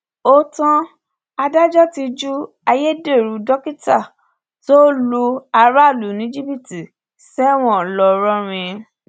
ó tán adájọ ti ju ayédèrú dókítà tó ń lu aráàlú ní jìbìtì sẹwọn ńlọrọrìn